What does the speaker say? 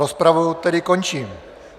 Rozpravu tedy končím.